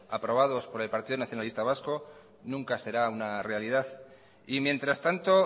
aprobados por el partido nacionalista vasco nunca será una realidad y mientras tanto